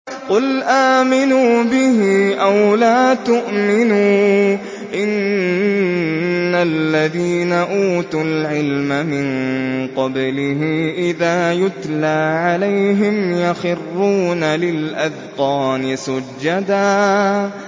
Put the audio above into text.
قُلْ آمِنُوا بِهِ أَوْ لَا تُؤْمِنُوا ۚ إِنَّ الَّذِينَ أُوتُوا الْعِلْمَ مِن قَبْلِهِ إِذَا يُتْلَىٰ عَلَيْهِمْ يَخِرُّونَ لِلْأَذْقَانِ سُجَّدًا